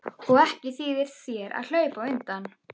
Og ekki þýðir þér að hlaupa undan.